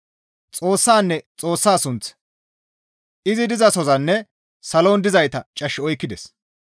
Xoossanne Xoossa sunth, izi dizasozanne salon dizayta cash oykkides.